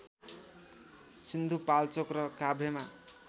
सिन्धुपाल्चोक र काभ्रेमा